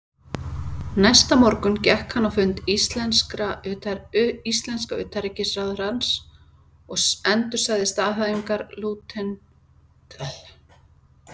Næsta morgun gekk hann á fund íslenska utanríkisráðherrans og endursagði staðhæfingar lautinantsins lið fyrir lið.